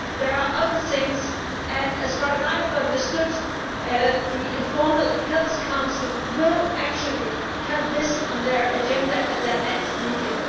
There are other things, and as far as I understand it, the informal Health Council will actually have this on their agenda at their next meeting.